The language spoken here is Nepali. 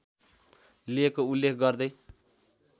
लिएको उल्लेख गर्दै